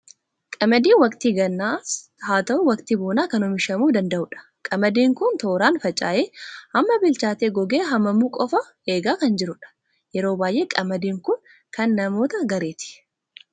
Qamadiin waqtii gannaas haa ta'u, waqtii bonaa kan oomishamuu danda'u dha. Qamadiin kun tooraan faca'ee, amma bilchaatee gogee haamamuu qofaa eegaa kan jirudha. Yeroo baay'ee qamadiin kun kan namoota gareeti.